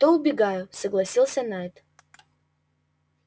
то убегаю согласился найд